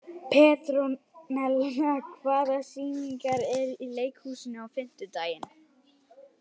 Petrónella, hvaða sýningar eru í leikhúsinu á fimmtudaginn?